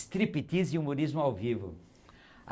Striptease e humorismo ao vivo.